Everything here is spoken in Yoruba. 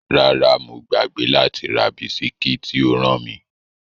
Rárá, mo gbàgbé láti ra bisikí tí o rán mi.